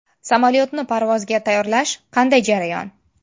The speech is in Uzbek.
Samolyotni parvozga tayyorlash qanday jarayon?